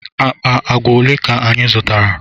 Akpa agwa ole ka anyị zụtara?